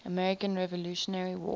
american revolutionary war